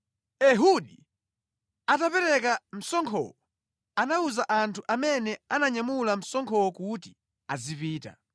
Ehudi atapereka msonkhowo, anawuza anthu amene ananyamula msonkhowo kuti azipita.